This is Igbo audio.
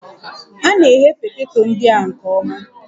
A na-eghe poteto ndị a nke ọma